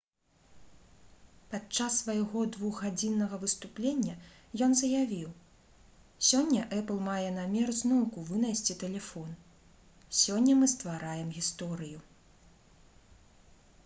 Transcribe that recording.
падчас свайго 2-гадзіннага выступлення ён заявіў: «сёння «эпл» мае намер зноўку вынайсці тэлефон. сёння мы ствараем гісторыю»